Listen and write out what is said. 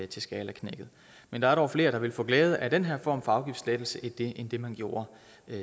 til skalaknækket men der er dog flere der vil få glæde af den her form for afgiftslettelse end det man gjorde